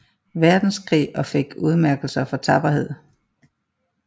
Verdenskrig og fik udmærkelser for tapperhed